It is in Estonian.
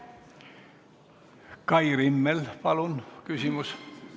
Kai Rimmel, palun küsimus!